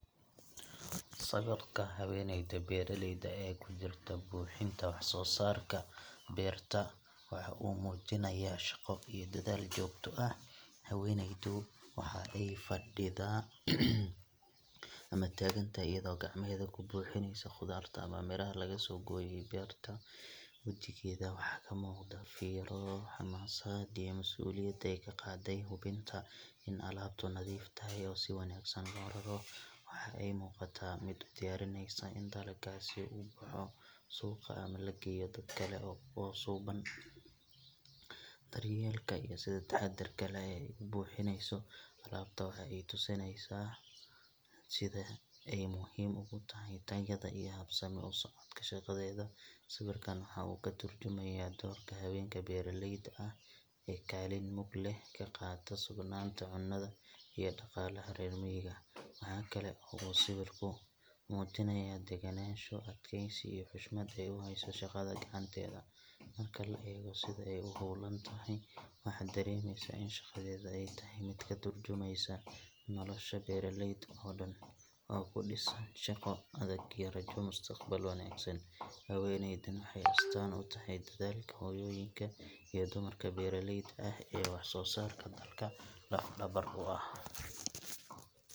Sawirka haweeneyda beeraleyda ah ee ku jirta buuxinta wax soo saarka beerta waxa uu muujinayaa shaqo iyo dadaal joogto ah. Haweeneydu waxa ay fadhidaa ama taagan tahay iyadoo gacmaheeda ku buuxinaysa khudaarta ama miraha laga soo gooyay beerta. Wajigeeda waxaa ka muuqda fiiro, xamaasad, iyo mas’uuliyad ay ka qaadday hubinta in alaabtu nadiif tahay oo si wanaagsan loo raro. Waxa ay u muuqataa mid u diyaarinaysa in dalaggaasi u baxo suuq ama loo geeyo dad kale oo suuban. Daryeelka iyo sida taxadarka leh ee ay u buuxinayso alaabta waxa ay tusinayaan sida ay muhiim ugu tahay tayada iyo habsami u socodka shaqadeeda. Sawirkan waxa uu ka tarjumayaa doorka haweenka beeraleyda ah ee kaalin mug leh ka qaata sugnaanta cunnada iyo dhaqaalaha reer miyiga. Waxa kale oo uu sawirku muujinayaa degganaansho, adkeysi, iyo xushmad ay u hayso shaqada gacanteeda. Marka la eego sida ay u hawlan tahay, waxa dareemayaa in shaqadeeda ay tahay mid ka turjumaysa nolosha beeraleyda oo dhan oo ku dhisan shaqo adag iyo rajo mustaqbal wanaagsan. Haweeneydan waxay astaan u tahay dadaalka hooyooyinka iyo dumarka beeraleyda ah ee wax soo saarka dalka laf dhabar u ah.